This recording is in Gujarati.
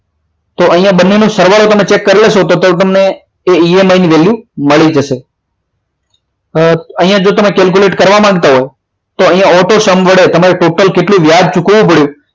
તો અહીંયા બંને નો સરવાળો તમે ચેક કરી લેશો તો તમને EMI ની value મળી જશે અહીંયા તમે calculate કરવા માગતા હો તો અહીંયા auto sum વડે તમારે total કેટલું વ્યાજ ચૂકવવું પડે